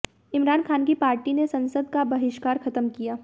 इमरान ख़ान की पार्टी ने संसद का बहिष्कार ख़त्म किया